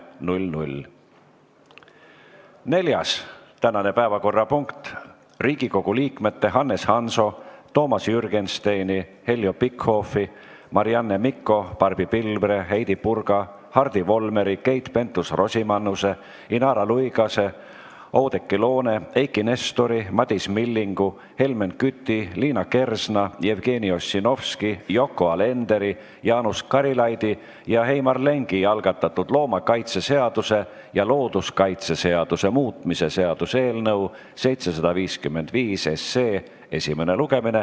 Tänane neljas päevakorrapunkt on Riigikogu liikmete Hannes Hanso, Toomas Jürgensteini, Heljo Pikhofi, Marianne Mikko, Barbi Pilvre, Heidy Purga, Hardi Volmeri, Keit Pentus-Rosimannuse, Inara Luigase, Oudekki Loone, Eiki Nestori, Madis Millingu, Helmen Küti, Liina Kersna, Jevgeni Ossinovski, Yoko Alenderi, Jaanus Karilaidi ja Heimar Lengi algatatud loomakaitseseaduse ja looduskaitseseaduse muutmise seaduse eelnõu 755 esimene lugemine.